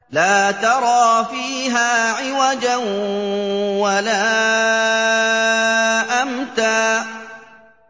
لَّا تَرَىٰ فِيهَا عِوَجًا وَلَا أَمْتًا